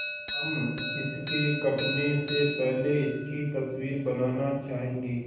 हम इसके कटने से पहले इसकी तस्वीर बनाना चाहेंगे